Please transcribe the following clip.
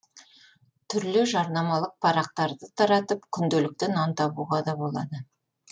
түрлі жарнамалық парақтарды таратып күнделікті нан табуға да болады